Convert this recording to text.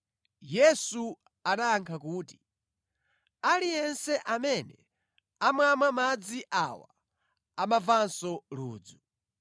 Yesu anayankha kuti, “Aliyense amene amamwa madzi awa amamvanso ludzu,